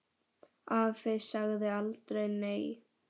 Afi sagði aldrei nei.